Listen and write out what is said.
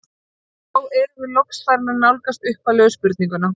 Og þá erum við loks farin að nálgast upphaflegu spurninguna.